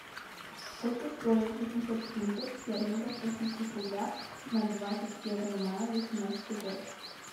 сколько стоит восемьсот фунтов стерлингов в российских рублях на двадцать первое мая восемнадцатый год